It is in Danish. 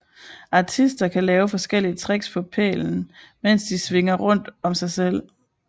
Artister kan lave forskellige tricks på pælen mens den svinger rundt om sig selv